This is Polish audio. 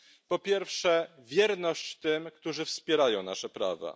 Po pierwsze wierność tym, którzy wspierają nasze prawa.